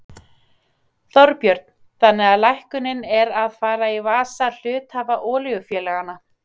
Þorbjörn: Þannig að lækkunin er að fara í vasa hluthafa olíufélaganna?